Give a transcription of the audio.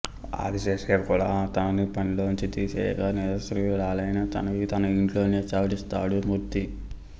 ఆదిశేషయ్య కూడా తనని పనిలోంచి తీసేయగా నిరాశ్రయురాలైన తనకి తన ఇంటిలోనే చోటిస్తాడు మూర్తి